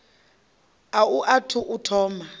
a u athu u thoma